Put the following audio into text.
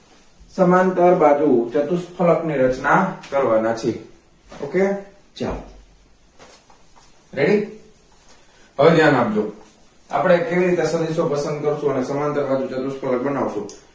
સમાંતર બાજુ ચતુઃ ફલક ની રચના કરવા ના છે okay જાવ ready હવે ધ્યાન આપજો આપડે કેવી રીતે સદિશો પસંદ કરશુ અને સમાંતર બાજુ ચતુઃ ફલક બનાવશુ